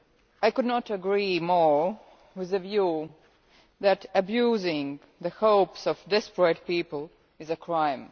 I could not agree more with the view that abusing the hopes of desperate people is a crime.